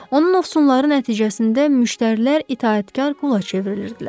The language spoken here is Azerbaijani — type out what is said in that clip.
Onun ovsunları nəticəsində müştərilər itaətkar qula çevrilirdilər.